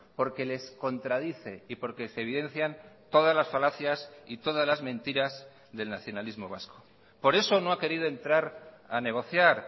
porque les contradice y porque se evidencian todas las falacias y todas las mentiras del nacionalismo vasco por eso no ha querido entrar a negociar